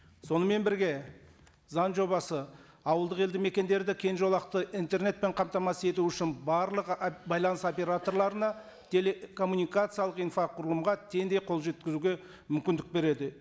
сонымен бірге заң жобасы ауылдық елді мекендерді кең жолақты интернетпен қамтамасыз ету үшін барлық байланыс операторларына телекоммуникациялық инфоқұрылымға теңдей қол жеткізуге мүмкіндік береді